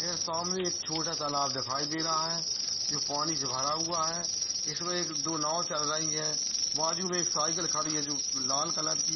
सामने एक छोटा तालाब दिखाई दे रहा है जो पानी से भरा हुआ है इसमें एक दो नाव चल रही है बाजू में एक साइकिल खड़ी है जो लाल कलर की है।